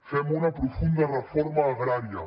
fem una profunda reforma agrària